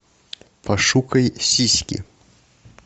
пошукай сиськи